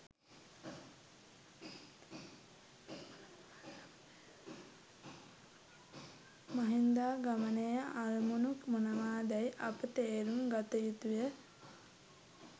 මහින්දාගමනයේ අරමුණු මොනවාදැයි අප තේරුම් ගත යුතුය.